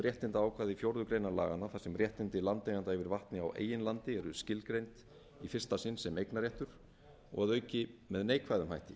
réttindaákvæði fjórðu grein laganna þar sem réttindi landeigenda yfir vatni á eigin landi eru skilgreind í fyrsta einn á eignarréttur og að auki með neikvæðum hætti